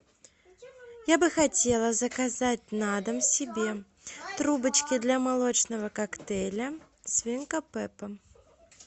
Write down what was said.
я бы хотела заказать на дом себе трубочки для молочного коктейля свинка пеппа